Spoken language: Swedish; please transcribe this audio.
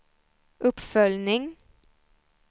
uppföljning